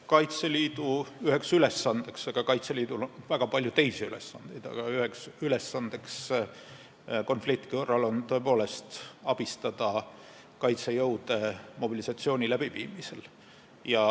Kaitseliidu üheks ülesandeks – Kaitseliidul on väga palju teisigi ülesandeid – konflikti korral on tõepoolest abistada kaitsejõude mobilisatsiooni läbiviimisel.